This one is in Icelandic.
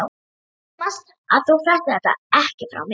Þú manst það, að þú fréttir þetta ekki frá mér.